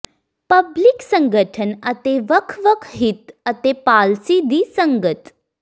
public ਸੰਗਠਨ ਅਤੇ ਵੱਖ ਵੱਖ ਹਿੱਤ ਅਤੇ ਪਾਲਸੀ ਦੀ ਸੰਗਤ